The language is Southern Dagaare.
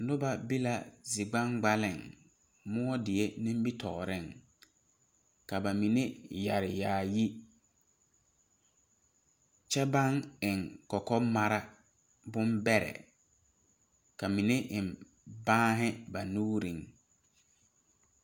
Noba be la zigbaŋgbaliŋ die nimitooreŋ ka ba mine yɛre yaayi kyɛ baŋ eŋ kɔkɔmara bonbɛrɛ ka mine eŋ baanghi ba nuuriŋ.